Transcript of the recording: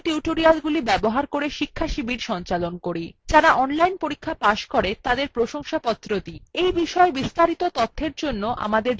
আমরা কথ্য টিউটোরিয়ালগুলি ব্যবহার করে শিক্ষাশিবির সঞ্চালন করি যারা অনলাইন পরীক্ষা পাস করে তাদের প্রশংসাপত্র দি এই বিষয় বিস্তারিত তথ্যের জন্য আমাদের যোগাযোগ করুন